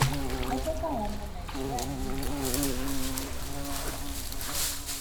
mo fẹ́ káwọn ọmọ nàìjíríà yìn mí ni